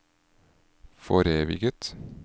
foreviget